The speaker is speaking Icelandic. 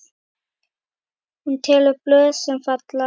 Hún telur blöðin, sem falla.